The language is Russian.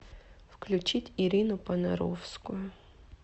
включить ирину понаровскую